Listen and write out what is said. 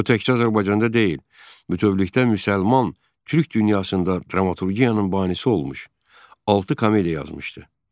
O təkcə Azərbaycanda deyil, bütövlükdə müsəlman türk dünyasında dramaturgiyanın banisi olmuş, altı komediya yazmışdı.